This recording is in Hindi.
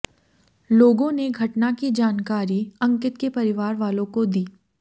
लोगों ने घटना की जानकारी अंकित के परिवार वालों को दी